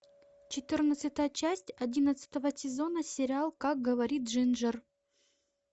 четырнадцатая часть одиннадцатого сезона сериал как говорит джинджер